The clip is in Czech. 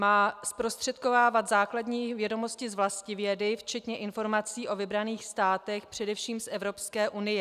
Má zprostředkovávat základní vědomosti z vlastivědy včetně informací o vybraných státech především z Evropské unie.